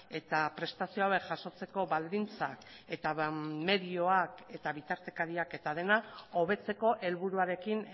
eta prestazio hauek jasotzeko baldintzak eta medioak eta bitartekariak eta dena hobetzeko helburuarekin